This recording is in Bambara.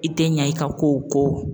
I tɛ ɲa i ka kow kɔ